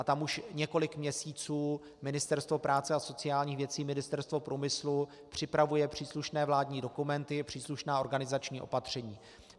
A tam už několik měsíců Ministerstvo práce a sociálních věcí, Ministerstvo průmyslu připravuje příslušné vládní dokumenty, příslušná organizační opatření.